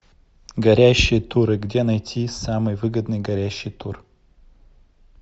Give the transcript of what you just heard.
горящие туры где найти самый выгодный горящий тур